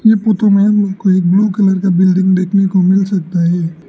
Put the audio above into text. ये फोटो में मुझको एक ब्लू कलर का बिल्डिंग देखने को मिल सकता है।